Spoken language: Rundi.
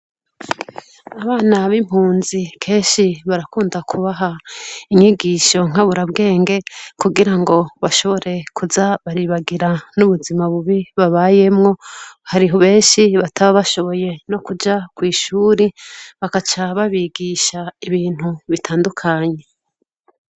Abana b' impunzi kenshi barakunda kubaha inyigisho nkaburabwenge kugirango bashobore kuza baribagira n 'ubuzima bubi babayemwo hari benshi bataba bashoboye nokuja kwishure bakaca babigisha ibintu bitandukanye .